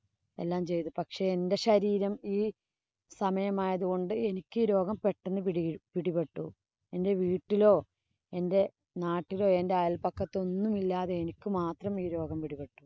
എല്ലാം ചെയ്തു. പക്ഷേ, എന്‍റെ ശരീരം ഈ സമയം ആയതുകൊണ്ട് എനിക്ക് ഈ രോഗം പെട്ടന്ന് പിടി പിടിപെട്ടു. എന്‍റെ വീട്ടിലോ, എന്‍റെ നാട്ടിലോ അയല്‍പക്കത്തൊന്നുമില്ലാതെ എനിക്ക് മാത്രം പിടിപെട്ടു.